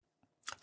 DR2